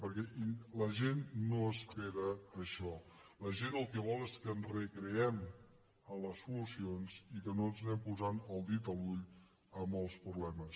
perquè la gent no espera això la gent el que vol és que ens recreem en les solucions i que no ens anem posant el dit a l’ull amb els problemes